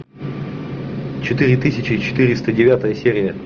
четыре тысячи четыреста девятая серия